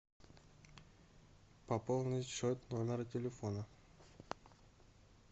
пополнить счет номер телефона